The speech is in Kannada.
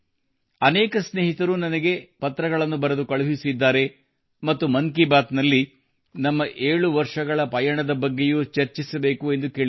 ಅನೇಕ ಸ್ನೇಹಿತರು ನನಗೆ ಪತ್ರಗಳನ್ನು ಬರೆದು ಕಳುಹಿಸಿದ್ದಾರೆ ಮತ್ತು ಮನ್ ಕಿ ಬಾತ್ ನಲ್ಲಿ ನಮ್ಮ 7 ವರ್ಷಗಳ ಪಯಣದ ಬಗ್ಗೆಯೂ ಚರ್ಚಿಸಬೇಕುಎಂದು ಕೇಳಿದ್ದಾರೆ